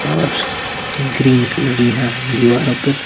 और green colour यहां दीवारों पर--